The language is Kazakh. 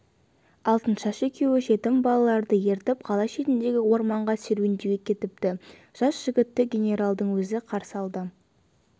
алтыншаш екеуі жетім балаларды ертіп қала шетіндегі орманға серуенге кетіпті жас жігітті генералдың өзі қарсы алды